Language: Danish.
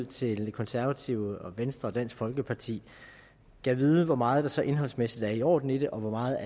til de konservative venstre og danske folkeparti gad vide hvor meget der så indholdsmæssigt er i orden i det og hvor meget